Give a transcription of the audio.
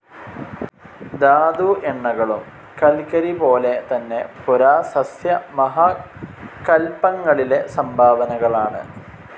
ധാതു എണ്ണകളും കൽക്കരിപോലെതന്നെ പുരാസസ്യ മഹാകൽപ്പങ്ങളിലെ സംഭാവനകളാണ്.